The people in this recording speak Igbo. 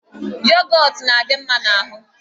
Yogọt na-adị mma n'ahụ.